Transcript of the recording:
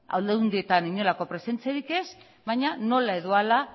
aldundietan inolako presentziarik ez baina nola edo hala